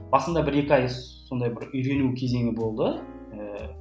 басында бір екі ай сондай бір үйрену кезеңі болды ііі